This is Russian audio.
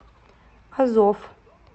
азов